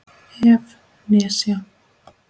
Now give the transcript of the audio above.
ef. nesja